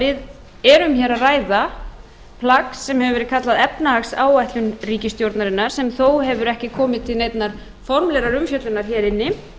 við erum hér að ræða plagg sem hefur verið kallað efnahagsáætlun ríkisstjórnarinnar sem þó hefur ekki komið til neinnar formlegrar umfjöllunar hér inni